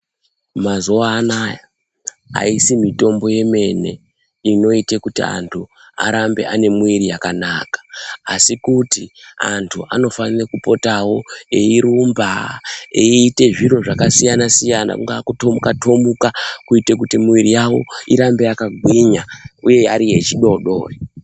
Mazuva anaya aisi mitombo yemene inoite kuti antu arambe ane muwiri yakanaka asi kuti antu anofane kupotawo eirumba eite zviro zvakasiyana siyana kungaa kutomuka tomuka kuite kuti miwiri yawo irambe yakagwinya uye iri yechidoodori.